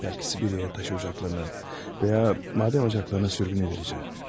Bəlki Sibiryaya taşıyacaqlarımı və ya madən ocaklarına sürgün ediləcəm.